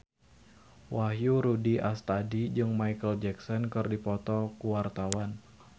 Wahyu Rudi Astadi jeung Micheal Jackson keur dipoto ku wartawan